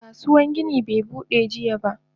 Kasuwan gini be Bude jiya ba.